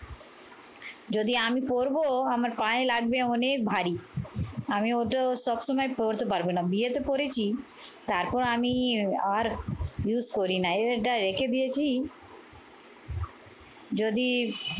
যদি আমি পরব, আমার পায়ে লাগবে অনেক ভারী। আমি ওটাও সবসময় পরতে পারবো না। বিয়েতে পরেছি, তারপর আমি আর use করি না, এটা রেখে দিয়েছি। যদি